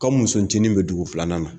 Ka muso cinin bɛ dugu filanan na.